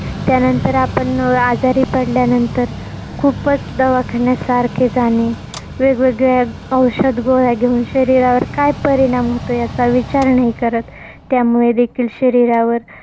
त्यानंतर आपण अं आजारी पडल्यानंतर खूपच दवाखान्यात सारखे जाणे. वेगवेगळे औषध, गोळ्या घेऊन शरीरावर काय परिणाम होतो? याचा विचार नाही करत. त्यामुळे देखील शरीरावर